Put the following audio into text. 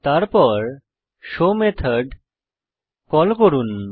তারপর show method call করুন